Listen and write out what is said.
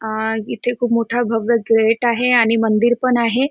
अह हम माशा कापून क्लीन करून त्यांना विकायचे काम आहे इथे करण्यांत येत आहे.